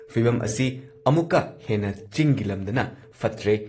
ꯐꯤꯚꯝ ꯑꯁꯤ ꯑꯃꯨꯛꯀ ꯍꯦꯟꯅ ꯆꯤꯡꯒꯤ ꯂꯝꯗꯅ ꯐꯠꯇ꯭ꯔꯦ ꯫